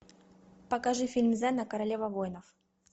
покажи фильм зена королева воинов